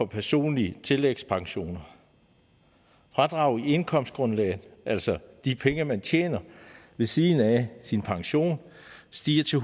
personlige tillægsprocent fradrag i indkomstgrundlag altså de penge man tjener ved siden af sin pension stiger til